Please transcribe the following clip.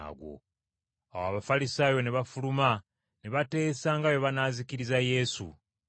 Awo Abafalisaayo ne bafuluma ne bateesa nga bwe banaazikiriza Yesu.